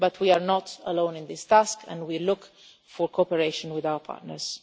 But we are not alone in this task and we look for cooperation with our partners.